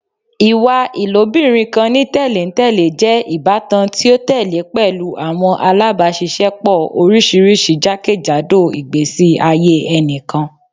Iwa ilobirin kan ni tẹlentẹle jẹ ibatan ti o tẹle pẹlu awọn alabaṣiṣẹpọ oriṣiriṣi jakejado igbesi aye ẹnikan